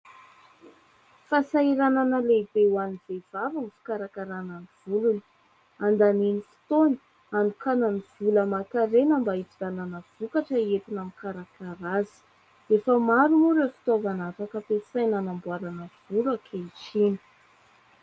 Fahasahiranana lehibe ho an'ny vehivavy ny fikarakarana ny volony. Handaniany ny fotoany, anokanany vola aman-karena mba hividanana vokatra hihetina ami'ny karakara azy. Efa maro moa ireo fitaovana afaka ampiasaina hanamboarana volo ankehitriny.